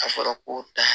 A fɔra ko taa